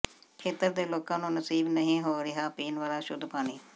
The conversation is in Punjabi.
ਖੇਤਰ ਦੇ ਲੋਕਾਂ ਨੂੰ ਨਸੀਬ ਨਹੀਂ ਹੋ ਰਿਹਾ ਪੀਣ ਵਾਲਾ ਸ਼ੁੱਧ ਪਾਣੀ